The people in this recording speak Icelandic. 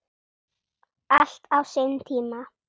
Allt á sinn tíma.